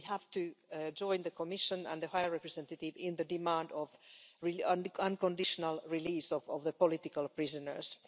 We have to join the Commission and the High Representative in the demand for the unconditional release of the political prisoners.